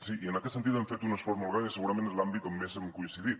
sí i en aquest sentit hem fet un esforç molt gran i segurament és l’àmbit on més hem coincidit